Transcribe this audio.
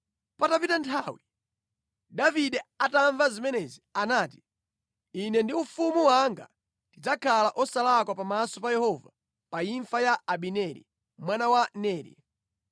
Patapita nthawi, Davide atamva zimenezi anati, “Ine ndi ufumu wanga tidzakhala osalakwa pamaso pa Yehova pa imfa ya Abineri mwana wa Neri.